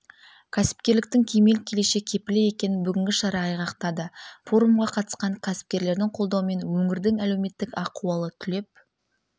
кәсіпкерліктің кемел келешек кепілі екенін бүгінгі шара айғақтады форумға қатысқан кәсіпкерлердің қолдауымен өңірдің әлеуметтік ахуалы түлеп